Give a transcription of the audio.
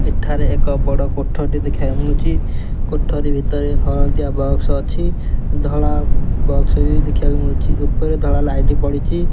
ଏଠାରେ ଏକ ବଡ଼ କୋଠରୀଟେ ଦେଖାଯାଉଚି। କୋଠରୀ ଭିତରେ ଏକ ହଳଦିଆ ବକ୍ସ ଅଛି ଧଳା ବକ୍ସ ବି ଦେଖିବାକୁ ମିଳୁଚି। ଉପରେ ଧଳା ଲାଇଟ୍ ପଡ଼ୁଚି।